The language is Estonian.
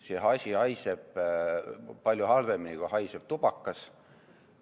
See asi haiseb palju halvemini kui tubakas.